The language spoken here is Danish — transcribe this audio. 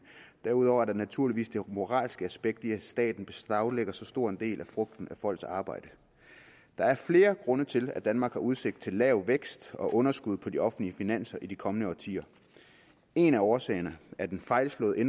derudover er der naturligvis det moralske aspekt i at staten beslaglægger så stor en del af frugten af folks arbejde der er flere grunde til at danmark har udsigt til lav vækst og underskud på de offentlige finanser i de kommende årtier en af årsagerne er den fejlslagne